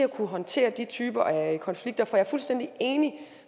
at kunne håndtere de typer af konflikter for jeg er fuldstændig enig